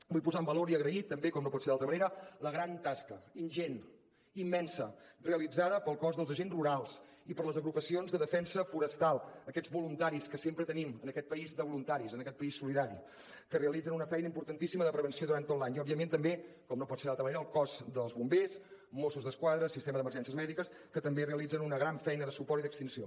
vull posar en valor i agrair també com no pot ser d’altra manera la gran tasca ingent immensa realitzada pel cos dels agents rurals i per les agrupacions de defensa forestal aquests voluntaris que sempre tenim en aquest país de voluntaris en aquest país solidari que realitzen una feina importantíssima de prevenció durant tot l’any i òbviament també com no pot ser d’altra manera al cos dels bombers mossos d’esquadra sistema d’emergències mèdiques que també realitzen una gran feina de suport i d’extinció